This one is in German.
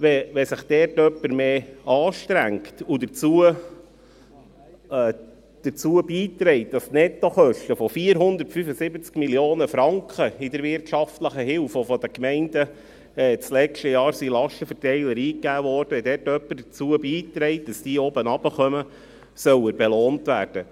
Wenn sich jemand anstrengt und dazu beiträgt, dass die Nettokosten von 475 Mio. Franken in der wirtschaftlichen Hilfe, die letztes Jahr durch die Gemeinden in den Lastenverteiler eingegeben wurden, sinken, soll er belohnt werden.